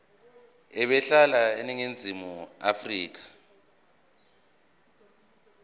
ebehlala eningizimu afrika